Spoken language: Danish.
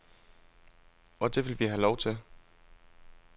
Og det vil vi have lov til.